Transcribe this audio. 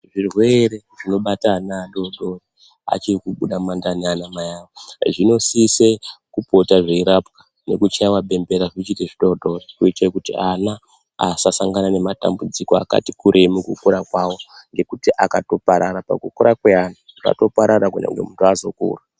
Zvirwere zvinobata ana adodori achiri kubuda mu mandani ana mai avo zvino sise kupota zveirapwa neku chaiwa bembera zvochiite zvidodori kuitira kuti ana asa sangana ne matambudziko akati kurei muku kura kwavo ngekuti akato parara paku kura kwemwana atoparara kunyangwe muntu azo kura.